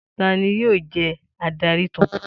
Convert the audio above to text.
Ta ni yóò jẹ́ adarí tuntun?